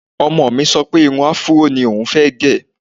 Ọmọ mi sọ pé irun afúró ní oùn fẹ́ gẹ̀